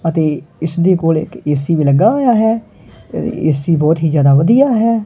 ਅਤੇ ਇਸਦੇ ਕੋਲ ਇਕ ਏ_ਸੀ ਵੀ ਲੱਗਾ ਹੋਇਆ ਹੈ ਏ_ਸੀ ਬਹੁਤ ਹੀ ਜਿਆਦਾ ਵਧੀਆ ਹੈ।